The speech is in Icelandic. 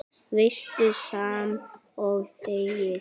Veistu, sama og þegið.